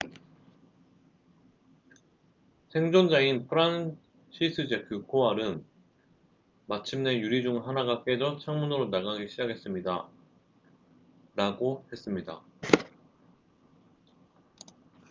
"생존자인 프란시스제크 코왈은 "마침내 유리 중 하나가 깨져 창문으로 나가기 시작했습니다""라고 했습니다.